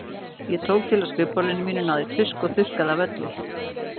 Ég tók til á skrifborðinu mínu, náði í tusku og þurrkaði af öllu.